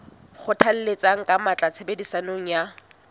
kgothalletsa ka matla tshebediso ya